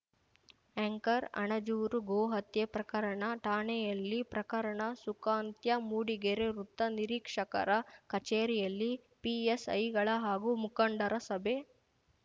anchor Anajuru ಗೋಹತ್ಯೆ ಪ್ರಕರಣ ಠಾಣೆಯಲ್ಲಿ ಪ್ರಕರಣ ಸುಖಾಂತ್ಯ ಮೂಡಿಗೆರೆ ವೃತ್ತ ನಿರೀಕ್ಷಕರ ಕಚೇರಿಯಲ್ಲಿ ಪಿಎಸ್‌ಐಗಳ ಹಾಗೂ ಮುಖಂಡರ ಸಭೆ